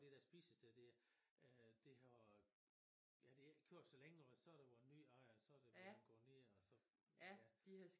Det der spisested der øh det har ja det har ikke kørt så længe og så har der været ny ejer og så har det været gået ned og så ja